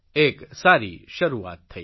એક સારી શરૂઆત થઇ